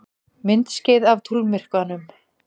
Myndskeið af tunglmyrkvanum